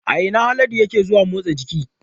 A ina Haladu yake zuwa motsa jiki?